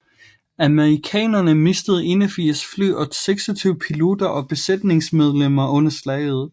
Amerikanerne mistede 81 fly og 26 piloter og besætningsmedlemmer under slaget